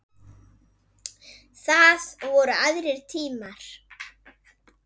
Þá voru aðrir tímar.